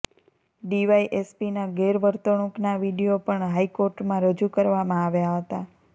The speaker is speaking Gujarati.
ડીવાયએસપીના ગેરવર્તણૂંકના વીડિયો પણ હાઈકોર્ટમાં રજૂ કરવામા આવ્યા હતા